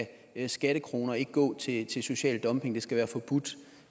skattekroner ikke gå til til social dumping det skal være forbudt